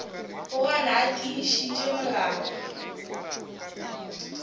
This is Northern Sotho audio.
o gana a tiišitše molala